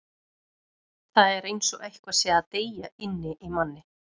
Það er eins og eitthvað sé að deyja inni í manni.